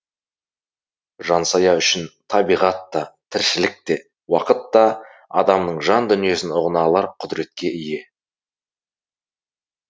жансая үшін табиғат та тіршілік те уақыт та адамның жан дүниесін ұғына алар құдіретке ие